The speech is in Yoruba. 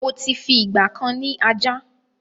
Mó ti fi ìgbàkan ni ajá